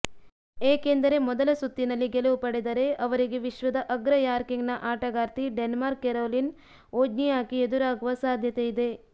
ಏಕೆಂದರೆ ಮೊದಲ ಸುತ್ತಿನಲ್ಲಿ ಗೆಲುವು ಪಡೆದರೆ ಅವರಿಗೆ ವಿಶ್ವದ ಅಗ್ರ ರ್ಯಾಂಕಿಂಗ್ನ ಆಟಗಾರ್ತಿ ಡೆನ್ಮಾಕ್ನ ಕೆರೊಲಿನ್ ವೊಜ್ನಿಯಾಕಿ ಎದುರಾಗುವ ಸಾಧ್ಯತೆಯಿದೆ